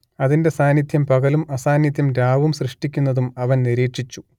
അതിന്റെ സാന്നിദ്ധ്യം പകലും അസാന്നിദ്ധ്യം രാവും സൃഷ്ടിക്കുന്നതും അവൻ നിരീക്ഷിച്ചു